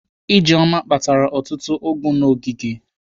Ijeoma kpatara ọtụtụ ụgụ n'ogige.